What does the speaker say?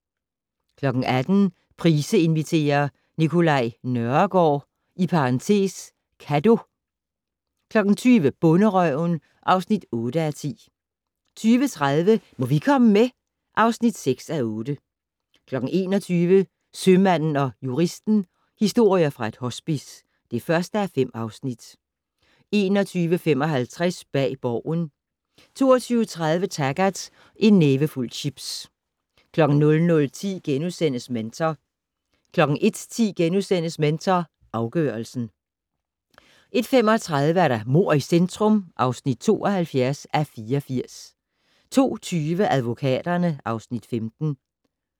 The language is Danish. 18:00: Price inviterer - Nicolai Nørregaard (Kadeau) 20:00: Bonderøven (8:10) 20:30: Må vi komme med? (6:8) 21:00: Sømanden & Juristen - historier fra et hospice (1:5) 21:55: Bag Borgen 22:30: Taggart: En nævefuld chips 00:10: Mentor * 01:10: Mentor afgørelsen * 01:35: Mord i centrum (72:84) 02:20: Advokaterne (Afs. 15)